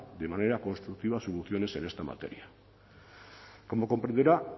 de manera constructiva soluciones en esta materia como comprenderá